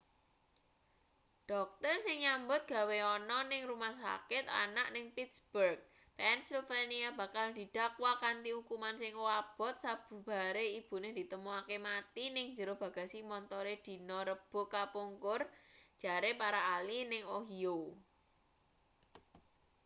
dokter sing nyambut gawe ana ning rumah sakit anak ning pittsburgh pennsylvania bakal didakwa kanthi ukuman sing abot sabubare ibune ditemokake mati ning njero bagasi montore dina rebo kapungkur jare para ahli ning ohio